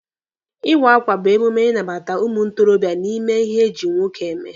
Ịwa akwa bụ emume ịnabata ụmụ ntorobịa n'ime ihe eji nwoke eme.